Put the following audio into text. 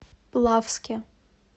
плавске